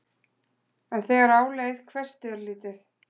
En þegar á leið hvessti örlítið.